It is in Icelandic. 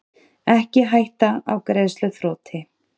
Ekki hætta á greiðsluþroti